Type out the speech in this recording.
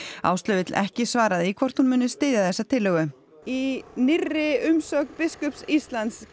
Áslaug vill ekki svara því hvort hún muni styðja þessa tillögu í nýrri umsögn biskups Íslands